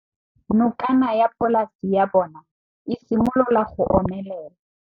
Nokana ya polase ya bona, e simolola go omelela.